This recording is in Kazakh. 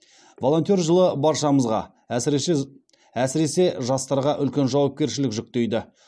волонтер жылы баршамызға әсіресе жастарға үлкен жауапкершілік жүктейді